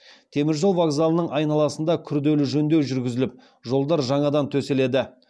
теміржол вокзалының айналасында күрделі жөндеу жүрігізіліп жолдар жаңадан төселеді